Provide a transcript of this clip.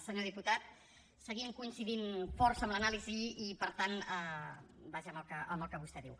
senyor diputat seguim coincidint força amb l’anàlisi i per tant vaja amb el que vostè diu